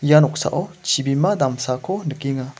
ia noksao chibima damsako nikenga.